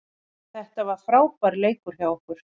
Þetta var frábær leikur hjá okkur